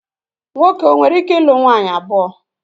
Nwoke o nwereike ilu nwaanyị abụọ?